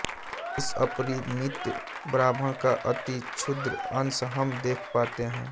इस अपरिमित ब्रह्मांड का अति क्षुद्र अंश हम देख पाते हैं